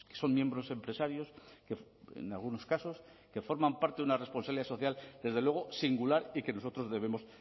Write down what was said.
son miembros empresarios que en algunos casos forman parte de una responsabilidad social desde luego singular y que nosotros debemos